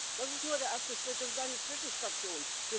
Das ist nur der erste Schritt, das ist eine Zwischenstation.